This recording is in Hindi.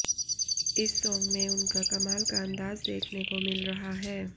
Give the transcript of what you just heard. इस सॉन्ग में उनका कमाल का अंदाज देखने को मिल रहा है